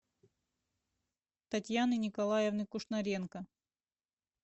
татьяны николаевны кушнаренко